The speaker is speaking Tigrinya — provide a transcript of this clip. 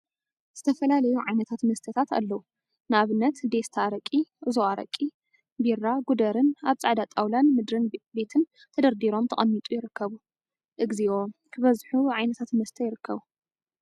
ዝተፈላለዩ ዓይነት መስተታት አለው፡፡ ንአብነት ዴስታ አረቂ፣ ኡዞ አረቂ፣ ቢራ ጉደርን አብ ፃዕዳ ጣውላን ምድሪ ቤትን ተደርዲሮም ተቀሚጦም ይርከቡ፡፡ እግዚኦ! ክበዙ ዓይነት መስተታት ይርከቡ፡